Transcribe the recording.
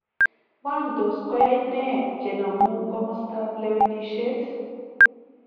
Wany tos koyai neeh chenomu komastab lewenisiet?